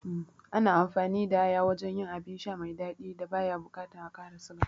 Ana amfani da aya wajen yin abin sha mai daɗi da baya bukatan a ƙara siga